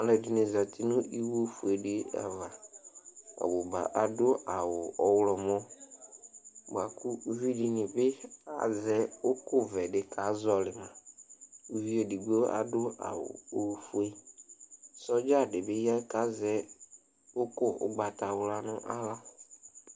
Alʋɛdini zati nʋ iwo fuedi ava ɔbʋba adʋ awʋ ɔwlɔmɔ bʋakʋ ʋvidini bi azɛ ʋkʋvɛ di kazɔli ma ʋvi edigbo adʋ awʋ ofue sɔdza dibi ya kʋ azɛ ʋkʋ ʋgbatawla nʋ aɣla